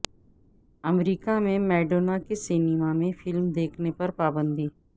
امریکہ میں میڈونا کے سینما میں فلم دیکھنے پر پابندی